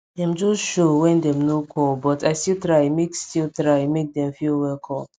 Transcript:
dem just show wen dem nor call but i still try make still try make dem feel welcome